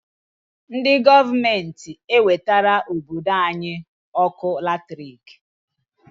Ndị gọọmenti g'ewetara obodo anyị ọkụ latrik.